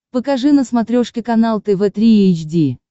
покажи на смотрешке канал тв три эйч ди